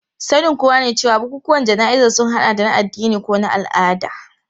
Sanin kowa ne cewa bukukuwan jana'izar sun hada da na addini ko na al'ada.